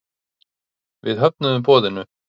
Við höfnuðum boðinu.